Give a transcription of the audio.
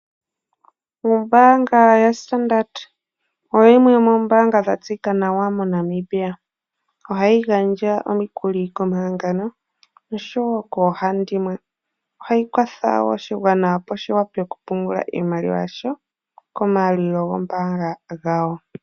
Ombaanga ya standard oyo yimwe yomombaanga ya tseyika nawa mo namibia, ohayi gandja omikuli koma hangano oshowo koo handimwe. ohayi kwatha woo oshigwana opo shi wape okupungula iimaliwa ya sho ko maalulilo gombaanga yawo.